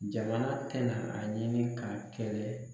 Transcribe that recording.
Jamana tɛna a ɲini k'a kɛlɛ.